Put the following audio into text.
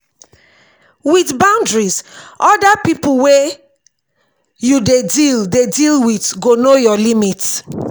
with boundaries oda pipo wey you dey deal dey deal with go know your limit